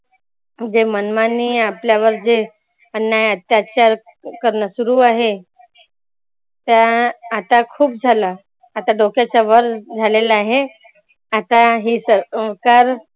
जे मनमानी आपल्यावर जे अन्याय अत्याचार करण सुरू आहे. त्या आता खुप झाला आता डोक्याच्या वर झालेलंं आहे. आता हे सरकार